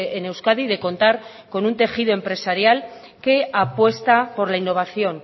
en euskadi de contar con un tejido empresarial que apuesta por la innovación